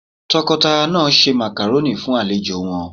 Tọkọtaya náà ṣe Màkàrónì fún àwọn àlejò won